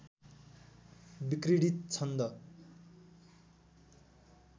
विक्रीडित छन्द